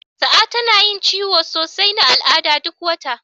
Sa'a tana yin ciwon sosai na al'ada duk wata.